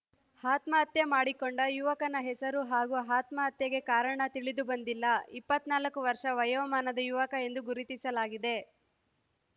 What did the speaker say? ಆತ್ಮಹತ್ಯೆ ಮಾಡಿಕೊಂಡ ಯುವಕನ ಹೆಸರು ಹಾಗೂ ಆತ್ಮಹತ್ಯೆಗೆ ಕಾರಣ ತಿಳಿದುಬಂದಿಲ್ಲ ಇಪ್ಪತ್ತ್ ನಾಲ್ಕು ವರ್ಷ ವಯೋಮಾನದ ಯುವಕ ಎಂದು ಗುರುತಿಸಲಾಗಿದೆ